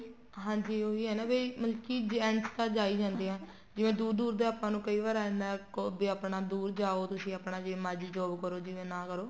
ਹਾਂਜੀ ਉਹੀ ਹੈ ਨਾ ਵੀ ਮਤਲਬ ਕੀ gents ਤਾਂ ਜਾਈ ਜਾਂਦੇ ਹੈ ਜਿਵੇਂ ਦੂਰ ਦੂਰ ਦਾ ਆਪਾਂ ਨੂੰ ਕਈ ਵਾਰ ਇੰਨਾਂ ਕੋ ਵੀ ਆਪਣਾ ਦੂਰ ਜਾਓ ਤੁਸੀਂ ਆਪਣਾ ਜਿਵੇਂ ਮਰਜੀ job ਕਰੋ ਜਿਵੇਂ ਨਾ ਕਰੋ